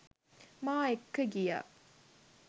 මා එක්ක ගිය